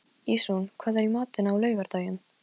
Gat ekki verið að einmitt þarna lægi hundurinn grafinn?